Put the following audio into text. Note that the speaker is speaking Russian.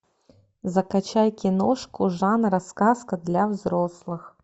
закачай киношку жанра сказка для взрослых